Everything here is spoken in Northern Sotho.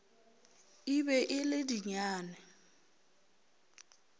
e be e le dinyane